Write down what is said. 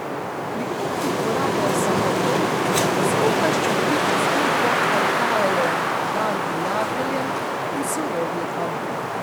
Pri kuhi uporabljajo samo to, skupaj s čudovito zgodbo pa jo dajejo v dar prijateljem in sorodnikom.